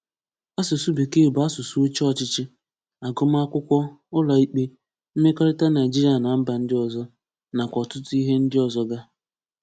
Asụ̀sụ́ Békee bụ́ asụ̀sụ́ òchè ọ̀chịchị, àgụ́màkụ̀kwọ́, ụ̀lọ̀ìkpé, mmekọ̀rịtà Naịjíríà na mba ndị ọzọ, nakwá ọ̀tụ̀tụ̀ íhè ndị ọzọ gā.